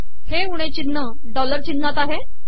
हे उणे िचनह डॉलर िचनहात आहे